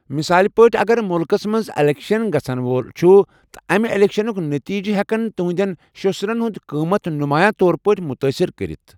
مثال پٲٹھۍ، اگر مُلکَس منٛز اِلیکشن گژھَن وول چھُ تہٕ امہِ اِلیکشنٕک نٔتیجِہ ہیکَن تُہنٛدٮ۪ن شسٔرَن ہُنٛد قۭمت نُمایاں طور پٲٹھۍ مُتٲثر کٔرِتھ۔